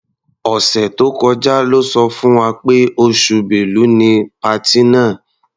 Ọ̀sẹ̀ tó kọjá lọ́ sọ fún wa pé oṣù Bẹ́lu ni patí náà.